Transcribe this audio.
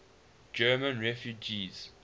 german refugees